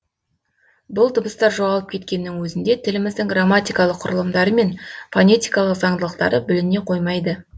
бұл дыбыстар жоғалып кеткеннің өзінде тіліміздің грамматикалық құрылымдары мен фонетикалық заңдылықтары бүліне қоймайды